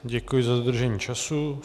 Děkuji za dodržení času.